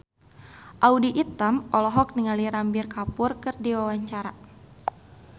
Audy Item olohok ningali Ranbir Kapoor keur diwawancara